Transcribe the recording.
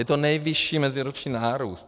Je to nejvyšší meziroční nárůst.